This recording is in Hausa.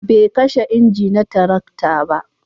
bai kashe inji na tarakta ba